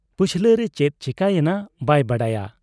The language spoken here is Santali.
ᱯᱟᱹᱪᱷᱞᱟᱹᱨᱮ ᱪᱮᱫ ᱪᱤᱠᱟᱹᱭᱮᱱᱟ ᱵᱟᱭ ᱵᱟᱰᱟᱭᱟ ᱾